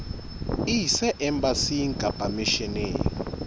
e ise embasing kapa misheneng